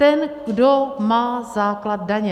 Ten, kdo má základ daně.